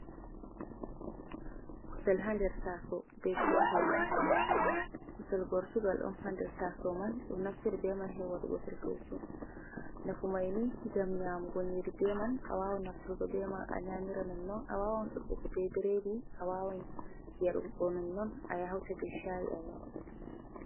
Kusel ha nder taaso bee cookali, kusel gortogal on ha nder taasawo man, ɗo naftira bee man her waɗugo "ferfeesu". Nafumay ni ngam yaamgo nyiiri beeman, a waawan nafturgo bee man a nyaamira nonnon. A waawan suɓɓugo bee bireedi, a waawan yarugo nonnon, a ya hawta bee caayi a yara.